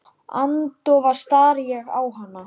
Hún er einmitt slík stelpa.